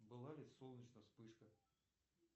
была ли солнечная вспышка